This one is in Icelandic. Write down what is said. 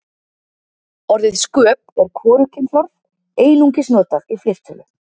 Orðið sköp er hvorugkynsorð, einungis notað í fleirtölu.